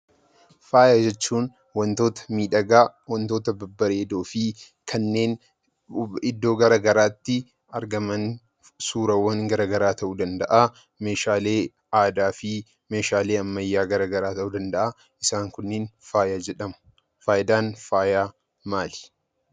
Faaya jechuun wantoota miidhagaa, wantoota babbareedoo fi kanneen iddoo garagaraatti argaman suurawwan garaagaraa ta'uu danda'aa, meeshaalee aadaa fi meeshaalee ammayyaa garagaraa ta'uu danda'aa. Isaan kunneen faaya jedhamu. Faayidaan faayaa maali?